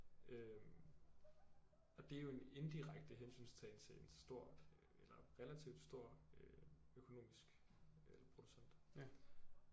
Øh og det er jo en indirekte hensyntagen til en stor eller relativt stor øh økonomisk øh producent